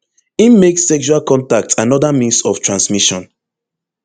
im make sexual contact anoda means of transmission